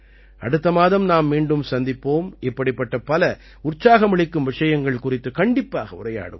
அடுத்த மாதம் நாம் மீண்டும் சந்திப்போம் இப்படிப்பட்ட பல உற்சாகமளிக்கும் விஷயங்கள் குறித்து கண்டிப்பாக உரையாடுவோம்